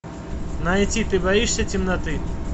найти ты боишься темноты